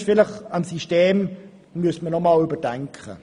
Deshalb müsste man vielleicht das System einmal überdenken.